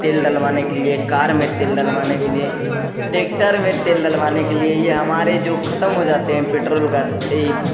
तेल डलवाने के लिए कार में तेल डलवाने के लिए ट्रेक्टर में तेल डलवाने के लिए ये हमारे जो ख़त्म हो जाते हैं पेट्रोल का ई --